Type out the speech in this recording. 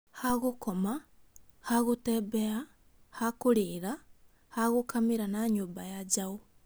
Ha gũkoma, ha gũtembea, ha kũrĩla, ha gũkamĩra na nyũmba ya njaũ